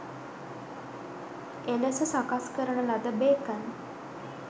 එලෙස සකස් කරන ලද බේකන්